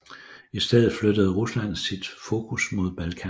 I stedet flyttede Rusland sit fokus mod Balkan